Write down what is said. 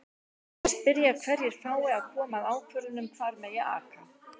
Þeir spyrja hverjir fái að koma að ákvörðun um hvar megi aka?